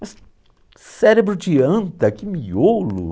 Mas, cérebro de anta, que miolo!